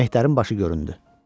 Mehdərin başı göründü.